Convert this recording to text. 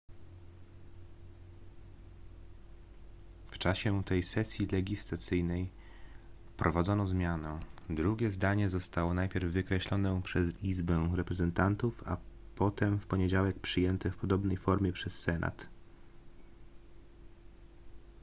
w czasie tej sesji legislacyjnej wprowadzono zmianę drugie zdanie zostało najpierw wykreślone przez izbę reprezentantów a potem w poniedziałek przyjęte w podobnej formie przez senat